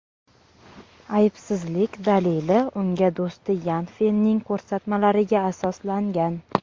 Aybsizlik dalili uning do‘sti Yan Fenning ko‘rsatmalariga asoslangan.